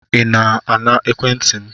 Ị na-ana ekwentị m?